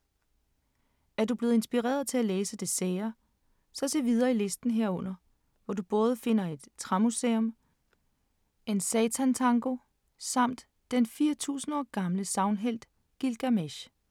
Er du blevet inspireret til at læse det sære? Så se videre i listen herunder, hvor du både finder et træmuseum, en satan-tango samt den 4.000 år gamle sagnhelt Gilgamesh.